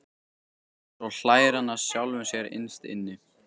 Svo hlær hann að sjálfum sér innst inni.